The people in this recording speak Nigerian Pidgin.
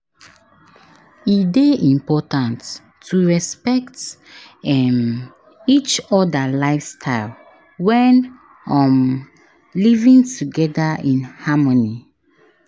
E dey important to respect um each other lifestyle when um living together in harmony.